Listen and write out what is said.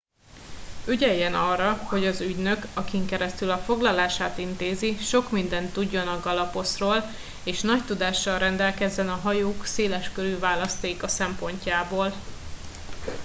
ügyeljen arra hogy az ügynök akin keresztül a foglalását intézi sok mindent tudjon a galapos ról és nagy tudással rendelkezzen a hajók széleskörű választéka szempontjából